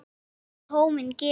Þar með var tónninn gefinn.